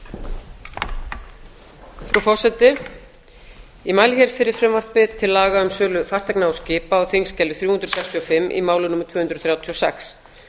frú forseti ég mæli hér fyrir frumvarpi til laga um sölu fasteigna og skipa á þingskjali þrjú hundruð sextíu og fimm í máli númer tvö hundruð þrjátíu og sex